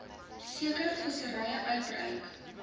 sekere visserye uitreik